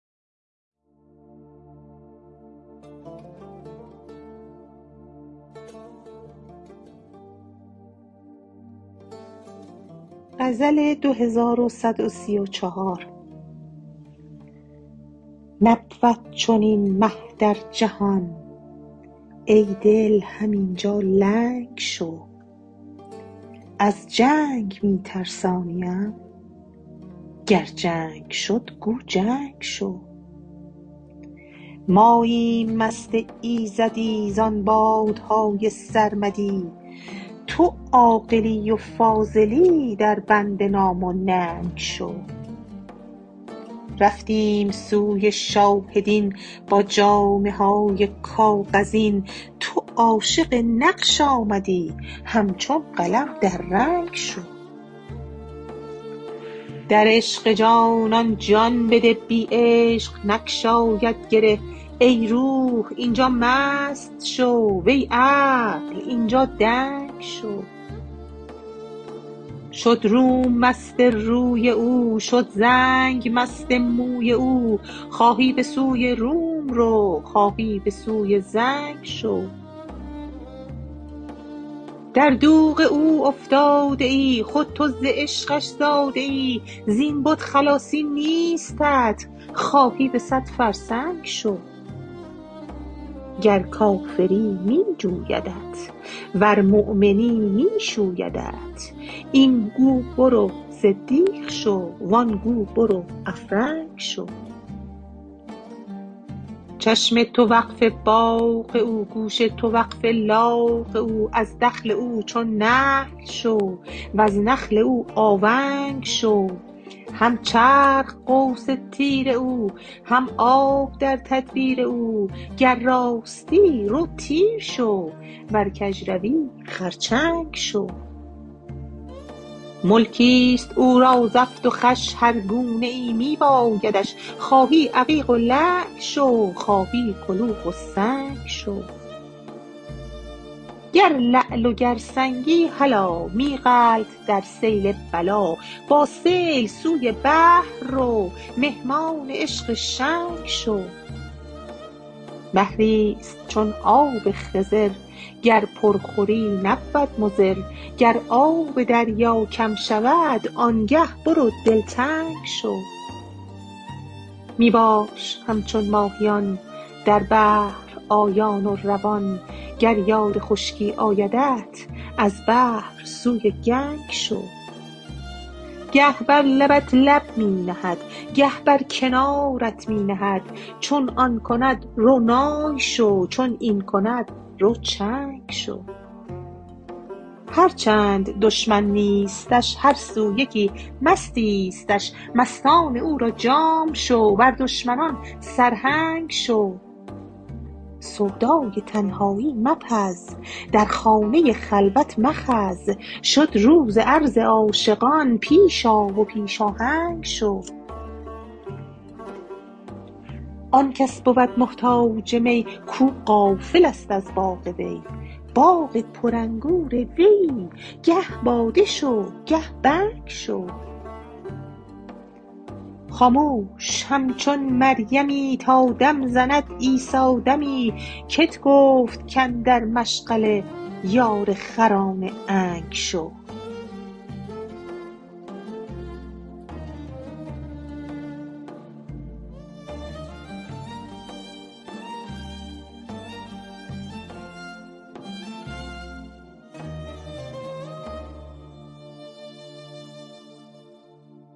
نبود چنین مه در جهان ای دل همین جا لنگ شو از جنگ می ترسانیم گر جنگ شد گو جنگ شو ماییم مست ایزدی زان باده های سرمدی تو عاقلی و فاضلی دربند نام و ننگ شو رفتیم سوی شاه دین با جامه های کاغذین تو عاشق نقش آمدی همچون قلم در رنگ شو در عشق جانان جان بده بی عشق نگشاید گره ای روح این جا مست شو وی عقل این جا دنگ شو شد روم مست روی او شد زنگ مست موی او خواهی به سوی روم رو خواهی به سوی زنگ شو در دوغ او افتاده ای خود تو ز عشقش زاده ای زین بت خلاصی نیستت خواهی به صد فرسنگ شو گر کافری می جویدت ورمؤمنی می شویدت این گو برو صدیق شو و آن گو برو افرنگ شو چشم تو وقف باغ او گوش تو وقف لاغ او از دخل او چون نخل شو وز نخل او آونگ شو هم چرخ قوس تیر او هم آب در تدبیر او گر راستی رو تیر شو ور کژروی خرچنگ شو ملکی است او را زفت و خوش هر گونه ای می بایدش خواهی عقیق و لعل شو خواهی کلوخ و سنگ شو گر لعل و گر سنگی هلا می غلت در سیل بلا با سیل سوی بحر رو مهمان عشق شنگ شو بحری است چون آب خضر گر پر خوری نبود مضر گر آب دریا کم شود آنگه برو دلتنگ شو می باش همچون ماهیان در بحر آیان و روان گر یاد خشکی آیدت از بحر سوی گنگ شو گه بر لبت لب می نهد گه بر کنارت می نهد چون آن کند رو نای شو چون این کند رو چنگ شو هر چند دشمن نیستش هر سو یکی مستیستش مستان او را جام شو بر دشمنان سرهنگ شو سودای تنهایی مپز در خانه خلوت مخز شد روز عرض عاشقان پیش آ و پیش آهنگ شو آن کس بود محتاج می کو غافل است از باغ وی باغ پرانگور ویی گه باده شو گه بنگ شو خاموش همچون مریمی تا دم زند عیسی دمی کت گفت کاندر مشغله یار خران عنگ شو